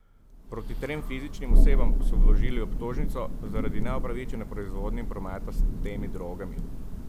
Proti trem fizičnim osebam pa so vložili obtožnico zaradi neupravičene proizvodnje in prometa s temi drogami.